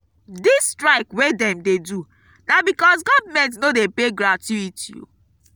dis strike wey dem dey do na because government no dey pay gratuity.